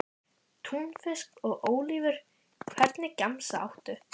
Túnfisk og ólívur Hvernig gemsa áttu?